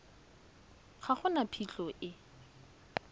ga go na phitlho e